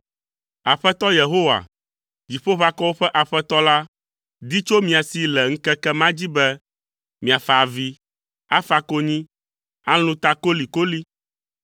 Aƒetɔ Yehowa, Dziƒoʋakɔwo ƒe Aƒetɔ la, di tso mia si le ŋkeke ma dzi be, miafa avi, afa konyi, alũ ta kolikoli.